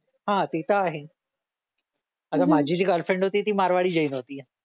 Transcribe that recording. हा ते तर आहे आता माझी जी गर्लफ्रेंड होती ती मारवाडी जैन होती